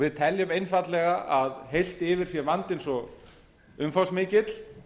við teljum einfaldlega að heilt yfir sé vandinn svo umfangsmikill